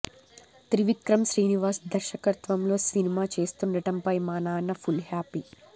త్రివిక్రమ్ శ్రీనివాస్ దర్శకత్వంలో సినిమా చేస్తుండటంపై మా నాన్న ఫుల్ హ్యాపీ